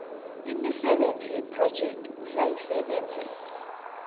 imisebenzi yephrojekhthi ozayisebenzisela